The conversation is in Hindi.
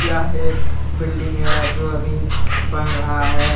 यह एक बिल्डिंग है जो अभी बन रहा है।